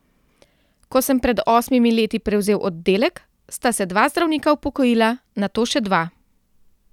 Ko sem pred osmimi leti prevzel oddelek, sta se dva zdravnika upokojila, nato še dva.